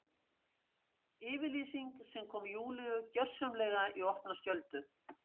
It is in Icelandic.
Yfirlýsing sem kom Júlíu gjörsamlega í opna skjöldu.